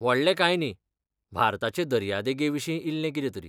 व्हडलें काय न्ही, भारताचे दर्यादेगेविशीं इल्लें कितें तरी.